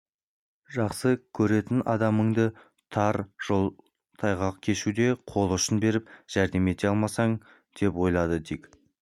жақсы көретін адамыңа тар жол тайғақ кешуде қол ұшын беріп жәрдем ете алмасаң деп ойлады дик